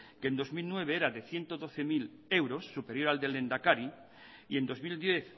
que en dos mil nueve era de ciento doce mil euros superior al del lehendakari y en dos mil diez